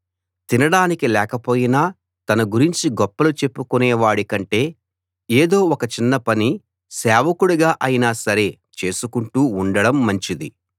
తినడానికి లేకపోయినా తన గురించి గొప్పలు చెప్పుకునేవాడి కంటే ఎదో ఒక చిన్న పనిసేవకుడుగా అయినా సరేచేసుకుంటూ ఉండడం మంచిది